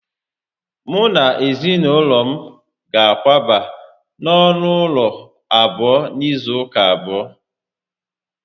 Mu na ezinaulo m ga-akwaba na onu ulo abuo n'izu uka abuo